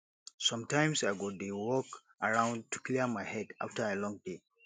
sometimes i go dey walk around to clear my head after a long day